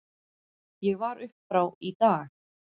Ég var upp frá í dag.